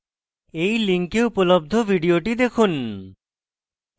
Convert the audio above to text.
এই link উপলব্ধ video দেখুন